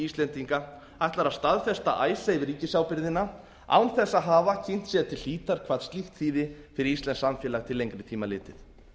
íslendinga ætlar að staðfesta icesave ríkisábyrgðina án þess að hafa kynnt sér til hlítar hvað slíkt þýði fyrir íslenskt samfélag til lengri tíma litið